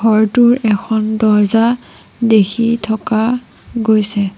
ঘৰটোৰ এখন দৰ্জা দেখি থকা গৈছে।